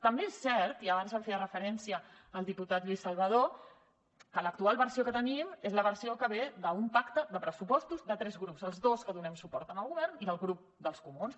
també és cert i abans hi feia referència el diputat lluís salvadó que l’actual versió que tenim és la versió que ve d’un pacte de pressupostos de tres grups els dos que donem suport al govern i el grup dels comuns